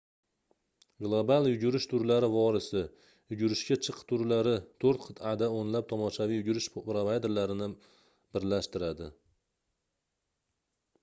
global yugurish turlari vorisi - yugurishga chiq turlari toʻrt qitʼada oʻnlab tomoshaviy yugurish provayderlarini birlashtiradi